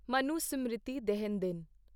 ਮਨੁਸਮ੍ਰਿਤੀ ਦਹਨ ਦਿਨ